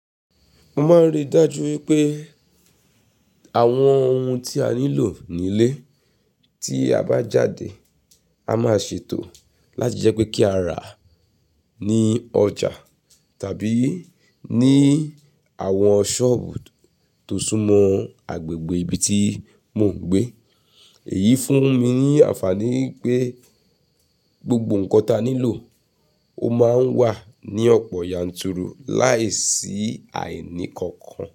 Mo máa ń rí i dájú wípé àwọn ohun tí a nílò nílé tí a bá jáde, a máa ṣètò láti jẹ́ pé kí á rà á ní ọjà tàbí ní àwọn sọ́ọ̀bù tó súnmọ́ agbègbè ibi tí mò ń gbé. Èyí fún mi ní àǹfààní pé gbogbo nǹkan tí a nílò, ó máa ń wà ní ọ̀pọ̀ yanturu láìsí àìní kankan.